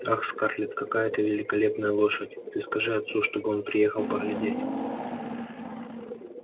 ах скарлетт какая это великолепная лошадь ты скажи отцу чтобы он приехал поглядеть